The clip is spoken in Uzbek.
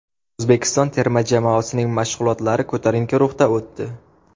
O‘zbekiston terma jamoasining mashg‘ulotlari ko‘tarinki ruhda o‘tdi .